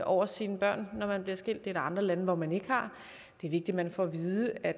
over sine børn når man bliver skilt det er der andre lande hvor man ikke har det er vigtigt man får at vide at